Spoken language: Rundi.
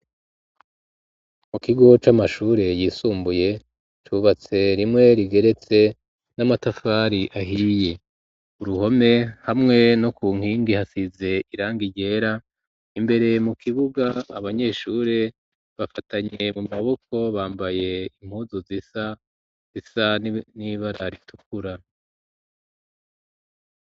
mu kigo c'amashure yisumbuye cubatse rimwe rigeretse n'amatafari ahiye uruhome hamwe no ku nkingi hasize irangi ryera imbere mu kibuga abanyeshuri bafatanye mu maboko bambaye impuzu zisa, Zisa n'ibara ritukura